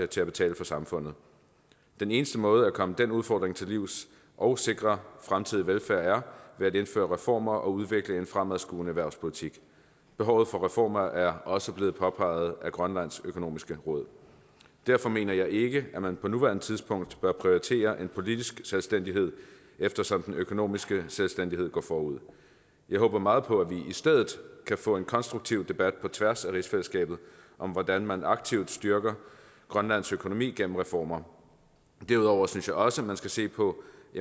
til at betale for samfundet den eneste måde at komme den udfordring til livs og sikre fremtidig velfærd er at indføre reformer og udvikle en fremadskuende erhvervspolitik behovet for reformer er også blevet påpeget af grønlands økonomiske råd derfor mener jeg ikke at man på nuværende tidspunkt bør prioritere en politisk selvstændighed eftersom den økonomiske selvstændighed går forud jeg håber meget på at vi i stedet kan få en konstruktiv debat på tværs af rigsfællesskabet om hvordan man aktivt styrker grønlands økonomi gennem reformer derudover synes jeg også man skal se på